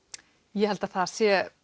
ég held að það sé